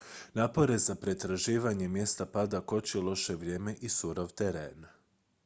napore za pretraživanje mjesta pada koči loše vrijeme i surov teren